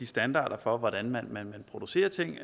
standarderne for hvordan man producerer ting